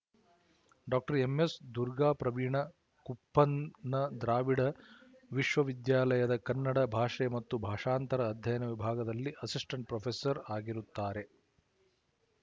doctor M S Durgapraveena ಕುಪ್ಪಂನ ದ್ರಾವಿಡ ವಿಶವವಿದ್ಯಾಲಯದ ಕನ್ನಡ ಭಾಷೆ ಮತ್ತು ಭಾಷಾಂತರ ಅಧ್ಯಯನ ವಿಭಾಗದಲ್ಲಿ ಅಸಿಸ್ಟೆಂಟ್ ಪ್ರೊಫೆಸರ್ ಆಗಿರುತ್ತಾರೆ